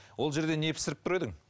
ол жерде не пісіріп тұр едің